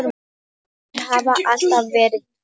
Þeir hafa alltaf verið tveir.